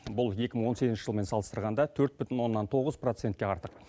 бұл екі мың он сегізінші жылмен салыстырғанда төрт бүтін оннан тоғыз процентке артық